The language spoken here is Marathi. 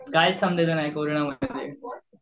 कायच कोरोनामध्ये.